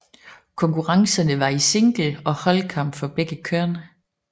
Konkurrencerne var i single og holdkamp for begge køn